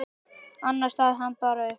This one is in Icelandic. Annars safnast hann bara upp.